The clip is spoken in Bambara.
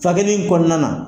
Fakɛli in kɔɔna na